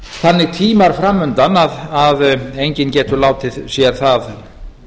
þannig tímar fram undan að enginn getur látið sér það